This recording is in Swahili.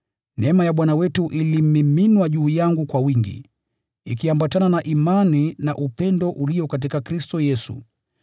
Neema ya Bwana wetu ilimiminwa juu yangu kwa wingi, ikiambatana na imani na upendo ulio katika Kristo Yesu.